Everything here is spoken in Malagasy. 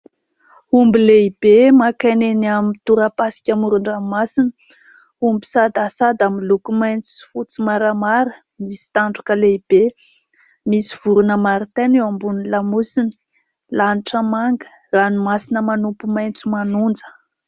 Omby lehibe maka aina eny amin'ny tora-pasika amoron-dranomasina. Omby sadasada miloko mainty sy fotsy maramara, misy tandroka lehibe. Misy vorona marotaina eo amin'ny lamosiny. Lanitra manga, ranomasina manopy maitso manonja.